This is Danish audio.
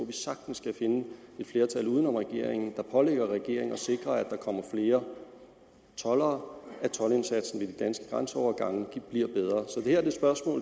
vi sagtens kan finde et flertal uden om regeringen der pålægger regeringen at sikre at der kommer flere toldere og at toldindsatsen ved de danske grænseovergange bliver bedre